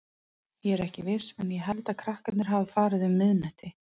Ég er ekki viss en ég held að krakkarnir hafi farið um miðnætti.